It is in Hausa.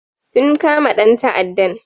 Sun kama dan ta'addan